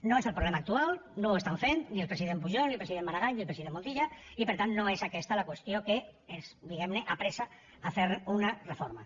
no és el problema actual no ho estan fent ni el president pujol ni el president maragall ni el president montilla i per tant no és aquesta la qüestió que ens diguem ne apressa a fer una reforma